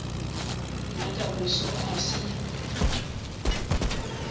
nna ka moso a se